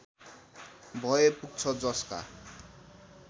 भए पुग्छ जसका